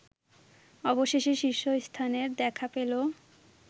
অবশেষে শীর্ষস্থানের দেখা পেল